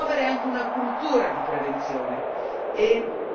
Vogliamo promuovere anche una cultura di prevenzione.